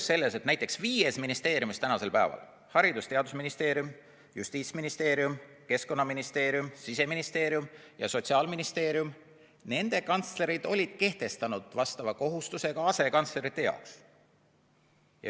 – oli see, et viies ministeeriumis – Haridus- ja Teadusministeerium, Justiitsministeerium, Keskkonnaministeerium, Siseministeerium ja Sotsiaalministeerium – on kantslerid kehtestanud vastava kohustuse ka asekantsleritele.